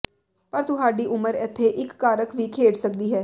ਪਰ ਤੁਹਾਡੀ ਉਮਰ ਇੱਥੇ ਇਕ ਕਾਰਕ ਵੀ ਖੇਡ ਸਕਦੀ ਹੈ